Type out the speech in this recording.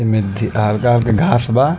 एमे हलका हलका घास बा।